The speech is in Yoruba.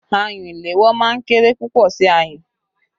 Ayùn ìléwọ́ máa ń kéré púpọ̀ sí ayùn.